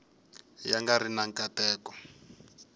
ya nga ri na nkateko